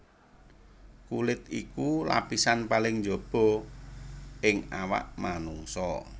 Kulit iku lapisan paling njaba ing awak manungsa